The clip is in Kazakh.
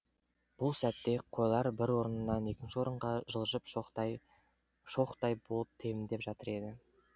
бұл сәтте қойлар бір орыннан екінші орынға жылжып шоқтай шоқтай болып тебіндеп жатыр еді